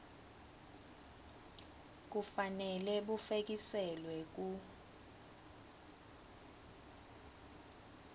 kufanele bufekiselwe ku